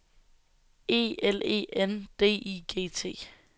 E L E N D I G T